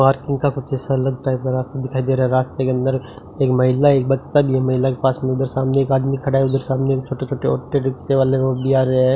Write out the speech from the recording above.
Parking का कुछ ऐसा अलग टाइप का रास्ता दिखाई दे रहा है रास्ते के अंदर एक महिला एक बच्चा भी है महिला के पास में उधर सामने एक आदमी खड़ा है उधर सामने छोटे-छोटे ऑटो रिक्शे वाले वो भी आ रहे है।